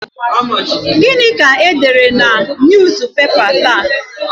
Gịnị ka e dere na Newspapers taa?